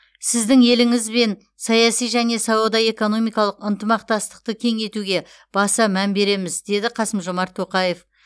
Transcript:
сіздің еліңізбен саяси және сауда экономикалық ынтымақтастықты кеңейтуге баса мән береміз деді қасым жомарт тоқаев